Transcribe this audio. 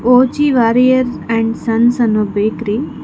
ಒ_ಜಿ Warrier and sons ಅನ್ನೋ bakery --